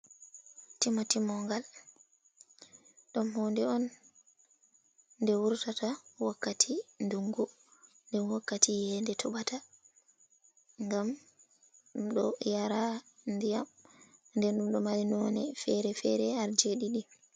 Timo timogal, ɗom honde on nde wurtata wakkati dungu nde wakkati yede tobata, gam ɗom ɗo yara diyam, bo ɗom ɗo mari none fere-fere har jedidi.